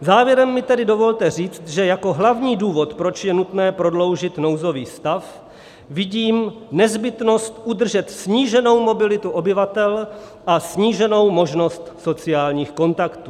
Závěrem mi tedy dovolte říct, že jako hlavní důvod, proč je nutné prodloužit nouzový stav, vidím nezbytnost udržet sníženou mobilitu obyvatel a sníženou možnost sociálních kontaktů.